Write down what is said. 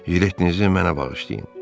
Jiletinizi mənə bağışlayın.